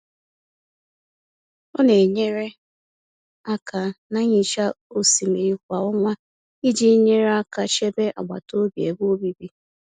Ọ na-enyere aka na nhicha osimiri kwa ọnwa iji nyere aka chebe agbataobi ebe obibi.